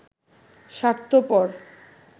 স্বার্থপর